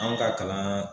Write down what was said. An ka kalan